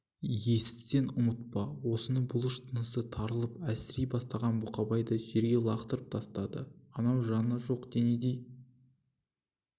есітсең ұмытпа осыны бұлыш тынысы тарылып әлсірей бастаған бұқабайды жерге лақтырып тастады анау жаны жоқ денедей